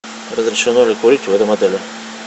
разрешено ли курить в этом отеле